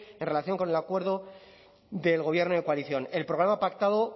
en relación con el acuerdo del gobierno de coalición el programa pactado